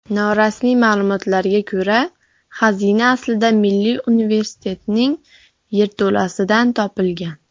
Norasmiy ma’lumotlarga ko‘ra, xazina aslida Milliy Universitetning yerto‘lasidan topilgan.